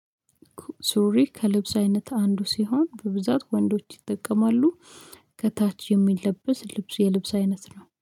ሱሪ ከልብስ አይነት አንዱ ሲሆን በብዛት ወንዶች ይጠቀማሉ። ከታች የሚለበስ ልብስ የልብስ አይነት ነው